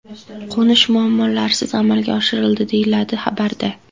Qo‘nish muammolarsiz amalga oshirildi”, deyiladi xabarda.